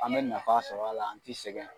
An bɛ nafa sɔrɔ a la an ti sɛgɛn.